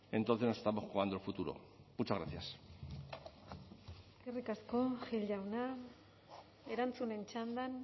entonces nos estamos jugando el futuro muchas gracias eskerrik asko gil jauna erantzunen txandan